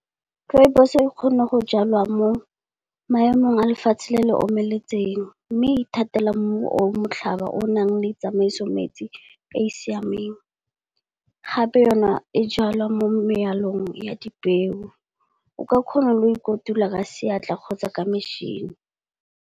Rooibos e kgona go jalwa mo maemong a lefatshe le le omeletseng, mme e ithatela mmu o motlhaba o o nang le tsamaiso metsi e e siameng. Gape yone e jalwa mo megaleng ya di peo, o ka kgona go kotula ka seatla kgotsa ka mešhini.